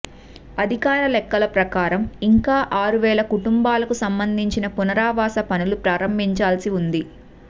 అధికారిక లెక్కల ప్రకారం ఇంకా ఆరు వేల కుటుంబాలకు సంబంధించిన పునరావాస పనులు ప్రారంభించాల్సి ఉంది